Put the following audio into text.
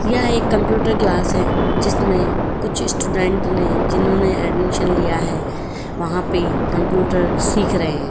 यह एक computer class है जिसमें कुछ स्टूडेंट है जिन्होंने एडमि लिया है वहां पे कंप्यूटर सीख रहे हैं।